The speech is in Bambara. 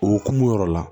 Okumu yɔrɔ la